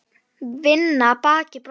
Vinna baki brotnu.